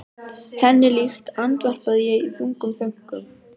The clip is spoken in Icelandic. Henni líkt, andvarpa ég í þungum þönkum.